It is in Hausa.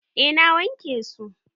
Eh na wanke su.